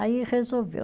Aí resolveu.